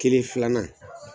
Kelen filanan